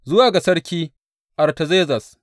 Zuwa ga sarki Artazerzes.